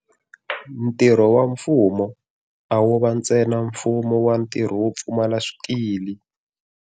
Ntirho wa mfumo a wo va ntsena mfumo va ntirho wo pfumala swikili.